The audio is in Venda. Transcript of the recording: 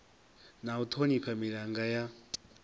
na u thonifha milanga ya